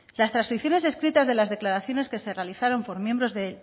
las trascripciones escritas de las declaraciones que se realizaron por miembros del